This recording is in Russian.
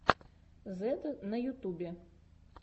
зедд на ютубе